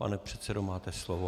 Pane předsedo, máte slovo.